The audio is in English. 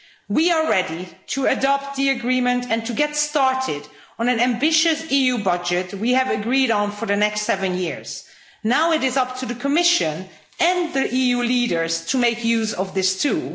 We are ready to adopt the agreement and to get started on an ambitious EU budget we have agreed on for the next seven years. Now it is up to the Commission and the EU leaders to make use of this, too.